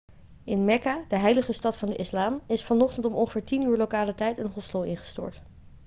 in mekka de heilige stad van de islam is vanochtend om ongeveer 10.00 uur lokale tijd een hostel ingestort